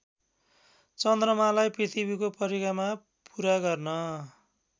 चन्द्रमालाई पृथ्वीको परिक्रमा पुरा गर्न